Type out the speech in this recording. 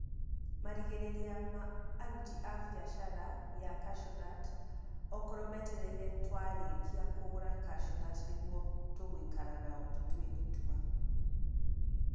Marĩgĩrĩria ma aruti a biathara ya kaciũnati okorwo metereire twarĩkia kũgũra kaciũnuti nĩguo tũgũikara nao tũtue itua.